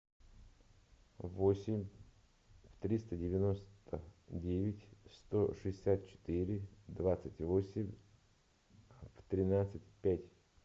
восемь триста девяносто девять сто шестьдесят четыре двадцать восемь тринадцать пять